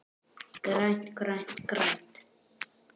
GRÆNT, GRÆNT, GRÆNT.